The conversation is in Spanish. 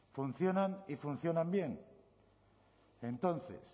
funcionan y funcionan bien entonces